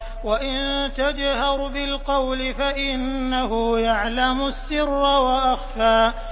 وَإِن تَجْهَرْ بِالْقَوْلِ فَإِنَّهُ يَعْلَمُ السِّرَّ وَأَخْفَى